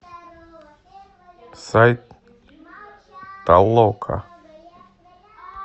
сайт толока